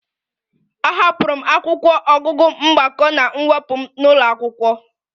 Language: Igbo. Ahapụrụ m akwụkwọ ọgụgụ mgbakọ na mwepụ m n'ụlọ akwụkwọ